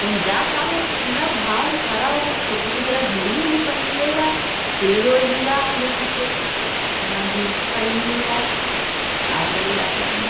कहीं जाता पूरा भाव खड़ा होके फोटो खिचारा घडी वडी पेहेनले बा। पेड़ वेड भी बा आगे पीछे। आं जीन्स पहीनले बा। का करे जाता कहीं।